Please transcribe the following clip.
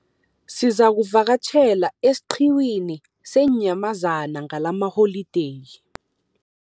Sizakuvakatjhela esiqhiwini seenyamazana ngalamaholideyi.